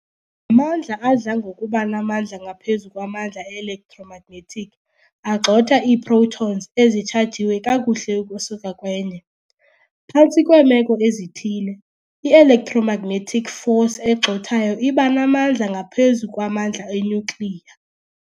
mandla adla ngokuba namandla ngaphezu kwamandla e-electromagnetic agxotha iiprotons ezichajiwe kakuhle ukusuka kwenye. Phantsi kweemeko ezithile, i-electromagnetic force egxothayo iba namandla ngaphezu kwamandla enyukliya.